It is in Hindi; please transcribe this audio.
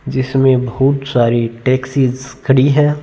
जिसमे बहुत सारी टॉक्सिस खड़ी है।